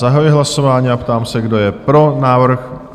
Zahajuji hlasování a ptám se, kdo je pro návrh?